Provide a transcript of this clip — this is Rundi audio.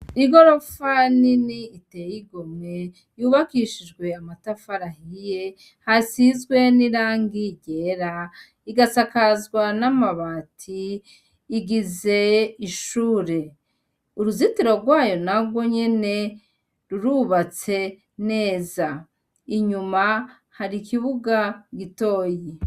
Igorofa ni ni iteye igomwe yubakishijwe ya matafarahiye hasizwe n'irangigera igasakazwa n'amabati igize ishure uruzitiro rwayo narwo nyene rurubatse neza inyuma hari ikibuga gitoyi.